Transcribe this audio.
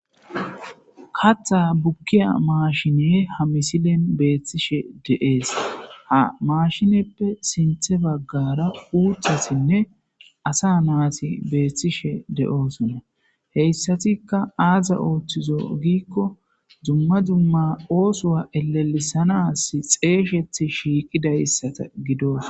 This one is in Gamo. Katha bukiya mashine ha misilen betishe de'es ha mashinepe sintha bagara uthatinne asa nati beetshe dosona,heysatika aazi oothizo giko dumma dumma osuwa elisisanasj xeyiseti shikqidaysata gidosona.